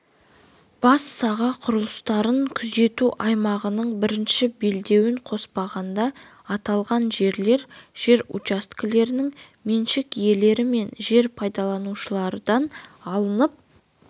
бас саға құрылыстарын күзету аймағының бірінші белдеуін қоспағанда аталған жерлер жер учаскелерінің меншік иелері мен жер пайдаланушылардан алынып